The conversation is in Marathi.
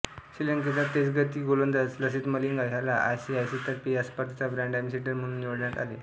श्रीलंकेचा तेजगती गोलंदाज लसिथ मलिंगा ह्याला आयसीसीतर्फे या स्पर्धेचा ब्रँड अँबॅसिडर म्हणून निवडण्यात आले